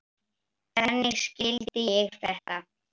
Þannig skildi ég þetta.